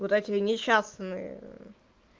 куда тебе несчастный